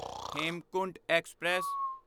Hemkunt express